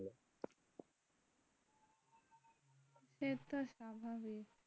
এতো স্বাভাবিক।